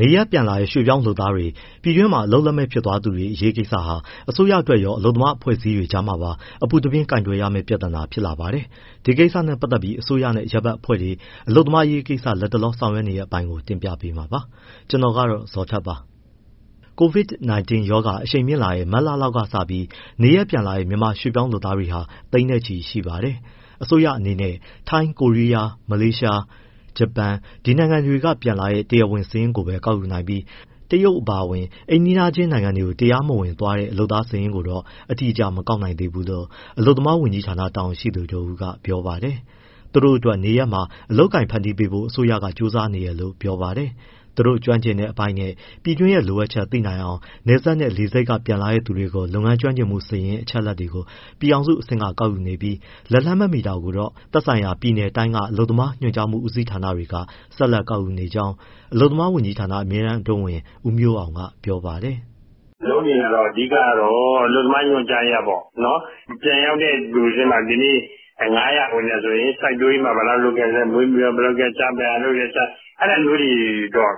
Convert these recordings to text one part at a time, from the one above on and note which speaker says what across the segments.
Speaker 1: နေရပ်ပြန်လာတဲ့ ရွှေ့ပြောင်းအလုပ်သမားတွေ၊ ပြည်တွင်းမှာ အလုပ်လက်မဲ့ဖြစ်သွားသူတွေအရေးကိစ္စဟာ အစိုးရအတွက်ရော၊ အလုပ်သမား အဖွဲ့အစည်းတွေကြားမှာပါ အပူတပြင်း ကိုင်တွယ်ရမယ့် ပြဿနာဖြစ်လာပါတယ်။ ဒီကိစ္စနဲ့ပတ်သက်ပြီး အစိုးရနဲ့ အရပ်ဘက်အဖွဲ့တွေ အလုပ်သမားအရေးကိစ္စ လတ်တလော လုပ်ဆောင်နေတဲ့ အပိုင်းကို ဗွီအိုအေမြန်မာပိုင်းသတင်းထောက် ကိုဇော်ထက်က တင်ပြပေးမှာပါ။ COVID-19 ကပ်ရောဂါ အရှိန်မြင့်လာတဲ့ မတ်လလောက်ကစပြီး နေရပ်ပြန်လာတဲ့ မြန်မာရွှေ့ပြောင်းလုပ်သားတွေဟာ သိန်းချီ ရှိပါတယ်။ အစိုးရအနေနဲ့ ထိုင်း၊ ကိုရီးယား၊ မလေးရှား၊ ဂျပန် ဒီနိုင်ငံတွေကပြန်လာတဲ့ တရားဝင်စာရင်းကိုပဲ ကောက်ယူနိုင်ပြီး တရုတ်အပါအဝင် အိမ်နီးချင်းနိုင်ငံတွေကို တရားမဝင်သွားတဲ့ လုပ်သားစာရင်းကိုတော့ အတိအအကျ မကောက်နိုင်သေးဘူးလို့ အလုပ်သမားဝန်ကြီးဌာန တာဝန်ရှိသူတဦးက ပြောပါတယ်။ သူတို့အတွက်နေရပ်မှာ အလုပ်အကိုင်ဖန်တီးပေးဖို့ အစိုးရဘက်က ကြိုးစားနေတယ်လို့ ပြောပါတယ်။ သူတို့ကျွမ်းကျင်တဲ့အပိုင်းနဲ့ ပြည်တွင်းရဲ့ လိုအပ်ချက် သိနိုင်အောင် နယ်စပ်နဲ့ လေဆိပ်က ပြန်လာတဲ့သူတွေကို လုပ်ငန်းကျွမ်းကျင်မှု စာရင်း အချက်အလက်ကို ပြည်ထောင်စုအဆင့်က ကောက်ယူနေပြီး၊ လက်လှမ်း မမှီတာတွေကိုတော့ သက်ဆိုင်ရာပြည်နယ်၊ တိုင်းက အလုပ်သမားညွှန်ကြားမှု ဦးစီးဌာနတွေက ဆက်လက် ကောက်ယူနေကြောင်း အလုပ်သမားဝန်ကြီးဌာန အမြဲတမ်းအတွင်းဝန် ဦးမျိုးအောင်က ပြောပါတယ်
Speaker 2: ။ “လုပ်နေတာကတော့ အဓိက ကတော့ အလုပ်သမားညွှန်ကြားရေးကပေါ့။ ပြန်ရောက်တဲ့သူထဲမှာ ဒီနေ့ ၅၀၀ ဝင်တယ်ဆိုရင် စိုက်ပျိုးရေးမှာ ဘယ်လောက် လုပ်ခဲ့သလဲ၊ မွေးမြူရေးမှာဘယ်လောက်၊ တခြားဘယ်ဟာလုပ်တယ်၊ အဲဒါလေးတွေ ကောက်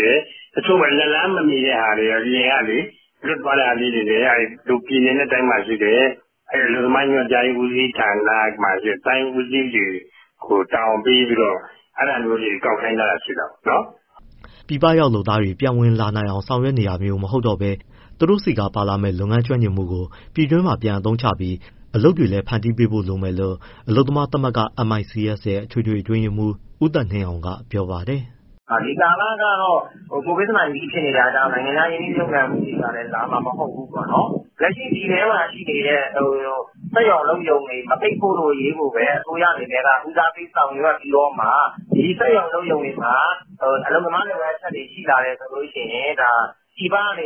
Speaker 2: တယ်။ တချိုကလက်လှမ်းမမီတဲ့ အပြင်ကလေ လွတ်သွားတဲ့ဟာလေးတွေလည်း ပြည်နယ်နဲ့ တိုင်းမှာရှိတဲ့ အလုပ်သမားညွှန်ကြားမှုဦးစီးဌာန တိုင်းဦးစီးတွေကို တာဝန်ပေးပြီးတော့ ကောက်ခိုင်းထားတာရှိတာပေါ့။
Speaker 1: ” ပြည်ပရောက်လုပ်သားတွေ ပြန်ဝင်လာနိုင်ဖို့ ဆောင်ရွက်နေတာမျိုး မဟုတ်တော့ဘဲ သူတို့ဆီက ပါလာမယ့် လုပ်ငန်းကျွမ်းကျင်မှုကို ပြည်တွင်းမှာ ပြန်အသုံးချပြီး အလုပ်တွေလည်းဖန်တီးပေးဖို့လိုမယ်လို့ အလုပ်သမားသမဂ္ဂ MICS ရဲ့ အထွေထွေအတွင်းရေးမှူး ဦးသက်နှင်းအောင်က ပြောပါတယ်
Speaker 3: ။ “ဒီကာလကတော့ COVID-19 ဖြစ်နေတာကြောင့် နိုင်ငံခြား ရင်းနှီးမြှုပ်နှံမှုတွေကလည်း လာမှာ မဟုတ်ဘူးပေါ့နော်။ လက်ရှိပြည်တွင်းမှာရှိနေတဲ့ စက်ရုံ၊ အလုပ်ရုံတွေ မပိတ်ဖို့အရေးကိုပဲ အစိုးရအနေနဲ့ ဦးစားပေး ဆောင်ရွက်ပြီးမှ ဒီစက်ရုံအလုပ်ရုံတွေမှာ အလုပ်သမားလိုအပ်တွေ ရှိလာရင် ပြည်ပက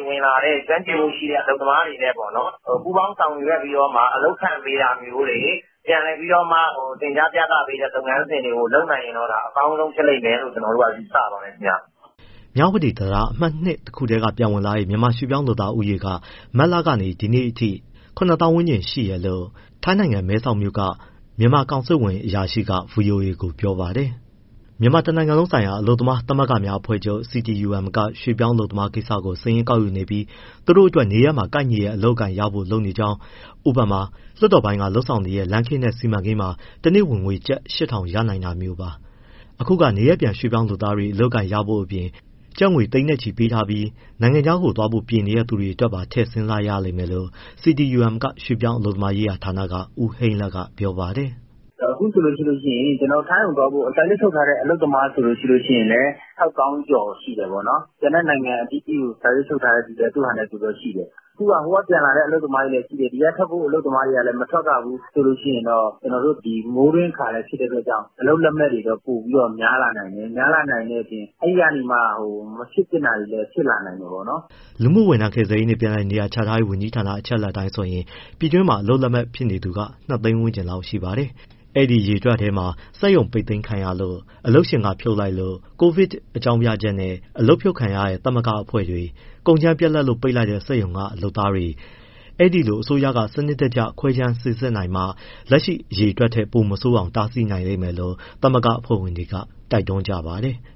Speaker 3: ဝင်လာတဲ့ ကျွမ်းကျင်မှုရှိတဲ့ လုပ်သားတွေနဲ့ ပူးပေါင်းဆောင်ရွက်ပြီးမှ အလုပ်ခန့်ပေးတာမျိုးတွေ၊ ပြည်လည်ပြီး သင်ကြားပို့ချပေးတဲ့ လုပ်ငန်းစဉ်တွေ လုပ်နိုင်ရင် အကောင်းဆုံး ဖြစ်လိမ့်မယ်လို့ ကျနော်တို့က ယူဆပါတယ်
Speaker 1: ။” မြဝတီတံတား အမှတ် တခုတည်းက ပြန်ဝင်လာတဲ့ မြန်မာရွှေ့ပြောင်းလုပ်သားဦးရေက မတ်လကနေ ဒီနေ့အထိ ၇၀,၀၀၀ ဝန်းကျင်ရှိပါတယ်လို့ ထိုင်းနိုင်ငံမဲဆောက် မြန်မာကောင်စစ်ဝန်ရုံးက တာဝန်ရှိသူကပြောပါတယ်။ တနိုင်ငံလုံး အတိုင်းအတာနဲ့ဆိုရင် ၁၅၀,၀၀၀ အထက်မှာ ရှိပါတယ်။ မြန်မာနိုင်ငံလုံးဆိုင်ရာ အလုပ်သမားသမဂ္ဂများ အဖွဲ့ချုပ် CTUM က ရွှေ့ပြောင်းအလုပ်သမားကိစ္စကို စာရင်းကောက်ယူနေပြီး သူတို့အတွက် နေရပ်မှာ ကိုက်ညီတဲ့ အလုပ်အကိုင်ရဖို့ လုပ်နေကြောင်း၊ ဥပမာ လွှတ်တော်ပိုင်းက လုပ်ဆောင်နေတဲ့ လမ်းခင်းတဲ့ စီမံကိန်းမှာ တနေ့ဝင်ငွေ ကျပ် ၈,၀၀၀ ရနိုင်တာမျိုး။ အခုက နေရပ်ပြန်ရွှေ့ပြောင်းလုပ်သားတွေ အလုပ်အကိုင်ရဖို့ အပြင် ကျပ်ငွေသိန်းနဲ့ချီ ပေးထားပြီး နိုင်ငံခြားသွားဖို့ပြင်နေတဲ့ သူတွေအတွက်ပါ ထည့်စဉ်းစားရလိမ့်မယ့်လို့ CTUM ရွှေ့ပြောင်းအလုပ်သမားရေးရာဌာနက ဦးဟိန်းလတ်က ပြောပါတယ်။
Speaker 3: “အခုဆိုရင် ထိုင်းကိုသွားဖို့ စာချုပ်ချုပ်ထားတဲ့ အလုပ်သမားဆိုရင်လည်း ၆၀,၀၀၀ ကျော်ရှိတယ်ပေါ့နော်။ ကျန်တဲ့နိုင်ငံအသီးသီးကို စာချုပ်ချုပ်ထားတဲ့ သူတွေလည်း ရှိတယ်။ ဟိုကပြန်တဲ့သူလည်းရှိတယ်၊ ဒီကပြန်တဲ့သူလည်း မထွက်ရဘူးဆိုတော့ ဒီ မိုးတွင်းအခါလည်း ဖြစ်တဲ့အတွက်ကြောင့် အလုပ်လက်မဲ့တွေ ပိုပြီး များလာနိုင်တယ်။ များလာနိုင်တဲ့အပြင် အဲဒီကနေ မဖြစ်သင့်တာတွေ ဖြစ်လာနိုင်တယ်။
Speaker 1: ” လူမှုဝန်ထမ်း၊ ကယ်ဆယ်ရေးနှင့် ပြန်လည်နေရာချထားရေး ဝန်ကြီးဌာန အချက်အလက်အတိုင်းဆိုရင် ပြည်တွင်းမှာ အလုပ်လက်မဲ့ ဖြစ်နေသူက ၂၀၀,၀၀၀ ဝန်းကျင်လောက်ရှိပါတယ်။ အဲံဒီအရေအတွက်ထဲမှာ စက်ရုံပိတ်သိမ်းခံရလို့၊ အလုပ်ရှင်က ဖြုတ်လိုက်လို့၊ COVID ရောဂါအကြောင်းပြချက်နဲ့ အလုပ်ဖြုတ်ခံရတဲ့ သမဂ္ဂအဖွဲ့တွေ၊ ကုန်ကြမ်းပြတ်လို့ ပိတ်လိုက်တဲ့ စက်ရုံက လုပ်သားတွေ ဒီလို အစိုးရက စနစ်တကျခွဲခြမ်း စိစစ်နိုင်မှ လက်ရှိ အရေအတွက်ကနေ ပိုမဆိုးအောင် တားဆီးနိုင်လိမ့်မယ်လို့ သမဂ္ဂအဖွဲ့တွေက တိုက်တွန်းကြပါတယ်။